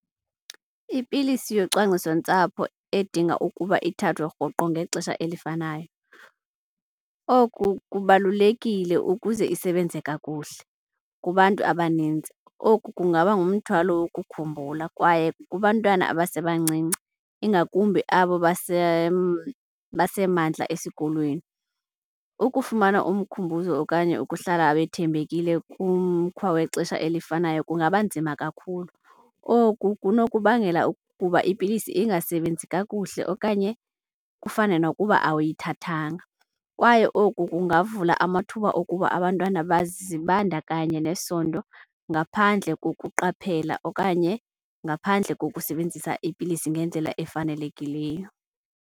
Ipilisi yocwangcisontsapho edinga ukuba ithathwe rhoqo ngexesha elifanayo, oku kubalulekile ukuze isebenze kakuhle. Kubantu abanintsi oku kungaba ngumthwalo ukukhumbula kwaye kubantwana abasebancinci, ingakumbi abo basemandla esikolweni. Ukufumana umkhumbuzo okanye ukuhlala wethembekile kumkhwa wexesha elifanayo kungaba nzima kakhulu. Oku kunokubangela ukuba ipilisi ingasebenzi kakuhle okanye kufane nokuba awuyithathanga. Kwaye oku kungavula amathuba okuba abantwana bazibandakanye nesondo ngaphandle kokuqaphela okanye ngaphandle kokusebenzisa ipilisi ngendlela efanelekileyo.